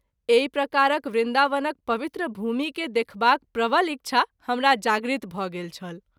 एहि प्रकारक वृन्दावनक पवित्र भूमि के देखबाक प्रवल इच्छा हमरा जागृत भ’ गेल छल।